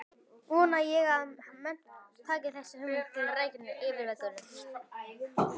Vona ég að menn taki þessa hugmynd til rækilegrar yfirvegunar.